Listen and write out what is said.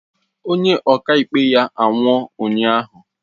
Onye ọkaikpe ya anwụọ ụnyahụ